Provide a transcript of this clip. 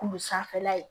Kulu sanfɛla ye